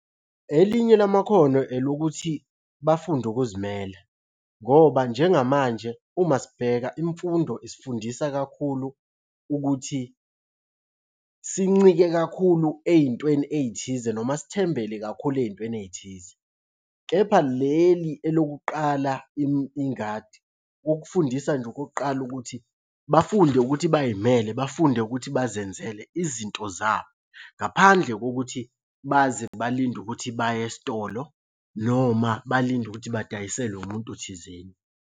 Elinye lamakhono elokuthi bafunde ukuzimele ngoba njengamanje uma sibheka imfundo isifundisa kakhulu ukuthi sincike kakhulu ey'ntweni ey'thize noma sithembele kakhulu ey'ntweni ey'thize. Kepha leli elokuqala ingadi, okufundisa nje okokuqala ukuthi bafunde ukuthi bay'mele bafunde ukuthi bazenzele izinto zabo ngaphandle kokuthi baze balinde ukuthi baye esitolo noma balinde ukuthi badayiselwe umuntu thizeni.